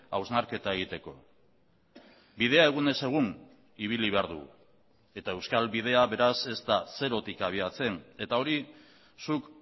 hausnarketa egiteko bidea egunez egun ibili behar dugu eta euskal bidea beraz ez da zerotik abiatzen eta hori zuk